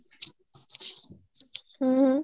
ହ୍ମ ହ୍ମ